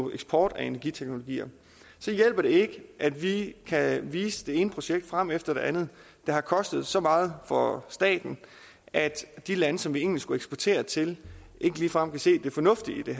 eksport af energiteknologi hjælper det ikke at vi kan vise det ene projekt frem efter det andet der har kostet så meget for staten at de lande som vi egentlig skulle eksportere til ikke ligefrem kan se det fornuftige i det